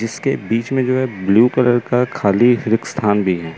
इसके बीच में जो है ब्लू कलर का खाली स्थान भी है।